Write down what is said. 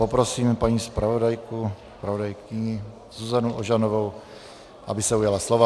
Poprosím paní zpravodajku Zuzanu Ožanovou, aby se ujala slova.